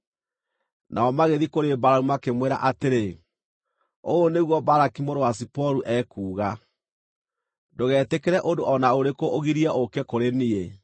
Nao magĩthiĩ kũrĩ Balamu makĩmwĩra atĩrĩ: “Ũũ nĩguo Balaki mũrũ wa Ziporu ekuuga: Ndũgetĩkĩre ũndũ o na ũrĩkũ ũgirie ũũke kũrĩ niĩ,